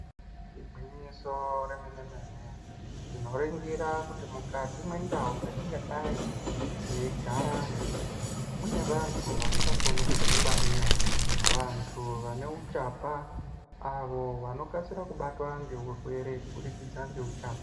Igwinyiso remene mene tinoringira kuti mukati mwendau dzatingadai teigaramwo munevantu vasingakoni kudzingwarira vantu vaneuchapa avo vanokasira kubatwa ngeurwere kubudikidza ngeuchapa.